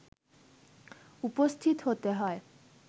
উপস্থিত হতে হয়